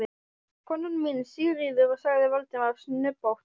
Konan mín, Sigríður sagði Valdimar snubbótt.